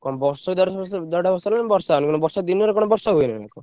କଣ ବର୍ଷେ ଦେଢ ବର୍ଷ ବର୍ଷ ହେଲାଣି ବର୍ଷା ହଉନି କଣ ବର୍ଷା ଦିନରେ କଣ ବର୍ଷା ହୁଏ ନା କଣ।